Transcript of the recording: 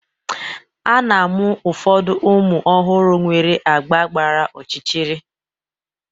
A na-amụ ụfọdụ ụmụ ọhụrụ nwere agba gbara ọchịchịrị.